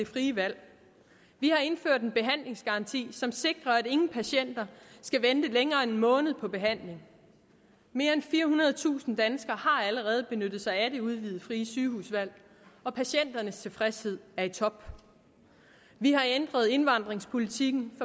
frie valg vi har indført en behandlingsgaranti som sikrer at ingen patienter skal vente længere end en måned på behandling mere end firehundredetusind danskere har allerede benyttet sig af det udvidede frie sygehusvalg og patienternes tilfredshed er i top vi har ændret indvandringspolitikken